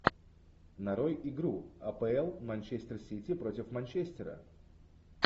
нарой игру апл манчестер сити против манчестера